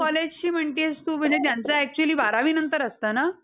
collegeची म्हणतीयेस तु म्हणजे त्यांचं actually बारावी नंतर असतं ना?